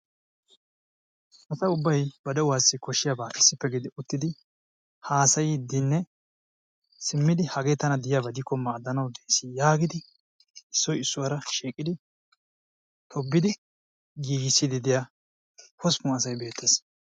Asa ubbay ba de'uwassi koshshiyaaba issippe gidi uttidi haassayidinne simmidi hagee tana diyaaba gidikko maaddanawu de'ees yaagidi issoy issuwaara shiiqidi tobbid giigissiddi diyaa hosppun asay beettees.